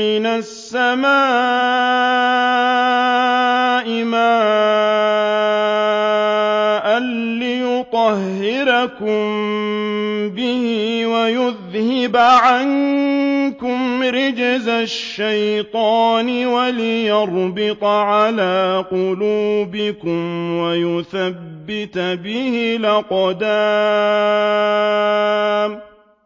مِّنَ السَّمَاءِ مَاءً لِّيُطَهِّرَكُم بِهِ وَيُذْهِبَ عَنكُمْ رِجْزَ الشَّيْطَانِ وَلِيَرْبِطَ عَلَىٰ قُلُوبِكُمْ وَيُثَبِّتَ بِهِ الْأَقْدَامَ